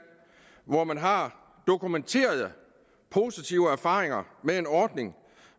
hvor man har dokumenterede positive erfaringer med en ordning